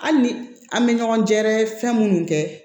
Hali ni an bɛ ɲɔgɔn gɛrɛ fɛn minnu kɛ